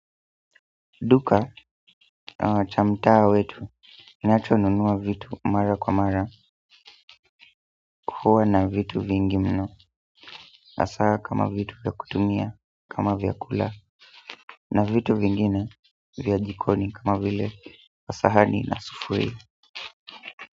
Duka cha mtaa wetu ninachonunua vitu mara kwa mara huwa na vitu vingi mno hasaa kama vitu vya kutumia kama vyakula na vitu vingine vya jikoni kama vile sahani na sufuria.